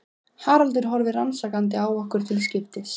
Haraldur horfir rannsakandi á okkur til skiptis.